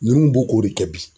Nunnu b'o k'o de kɛ bi.